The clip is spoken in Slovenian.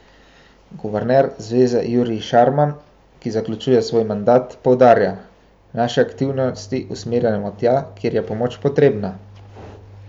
Guverner zveze Jurij Šarman, ki zaključuje svoj mandat, poudarja: "Naše aktivnosti usmerjamo tja, kjer je pomoč potrebna.